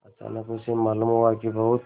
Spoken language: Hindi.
अचानक उसे मालूम हुआ कि बहुत